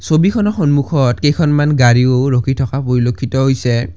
ছবিখনৰ সন্মুখত কেইখনমান গাড়ীও ৰখি থকা পৰিলক্ষিত হৈছে।